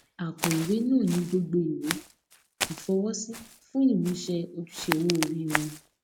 àpò ìwé náà ní gbogbo ìwé ìfọwọsí fún ìmúṣẹ ojúṣe owó ori wọn